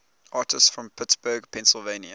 artists from pittsburgh pennsylvania